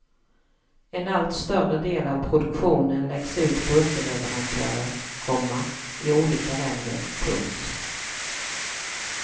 En allt större del av produktionen läggs ut på underleverantörer, komma i olika länder. punkt